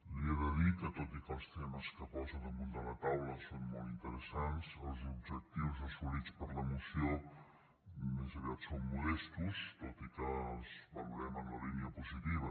li he de dir que tot i que els temes que posa damunt de la taula són molt interesants els objectius assolits per la moció més aviat són modestos tot i que els valorem en la línia positiva